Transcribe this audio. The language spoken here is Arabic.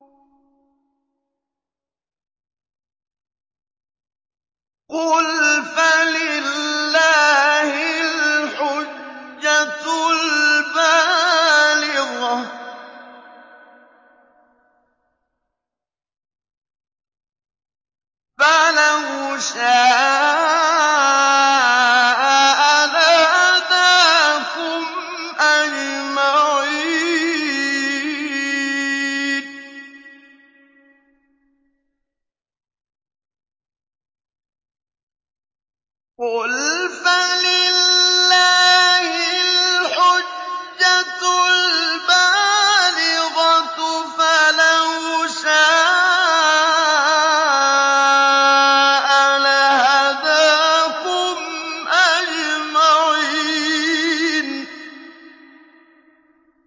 قُلْ فَلِلَّهِ الْحُجَّةُ الْبَالِغَةُ ۖ فَلَوْ شَاءَ لَهَدَاكُمْ أَجْمَعِينَ